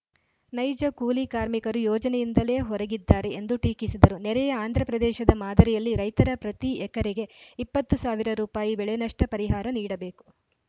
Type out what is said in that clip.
ನೈಜ ಕೂಲಿ ಕಾರ್ಮಿಕರು ಯೋಜನೆಯಿಂದಲೇ ಹೊರಗಿದ್ದಾರೆ ಎಂದು ಟೀಕಿಸಿದರು ನೆರೆಯ ಆಂಧ್ರಪ್ರದೇಶದ ಮಾದರಿಯಲ್ಲಿ ರೈತರ ಪ್ರತಿ ಎಕರೆಗೆ ಇಪ್ಪತ್ತು ಸಾವಿರ ರೂಪಾಯಿ ಬೆಳೆ ನಷ್ಟಪರಿಹಾರ ನೀಡಬೇಕು